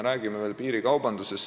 Räägime veel piirikaubandusest.